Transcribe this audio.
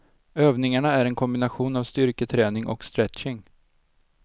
Övningarna är en kombination av styrketräning och stretching.